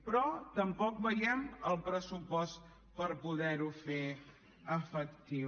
però tampoc veiem el pressupost per poder ho fer efectiu